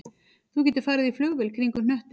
Þú getur farið í flugvél kringum hnöttinn